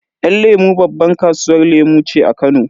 Yan lemu babban kasuwar lemu ce a Kano.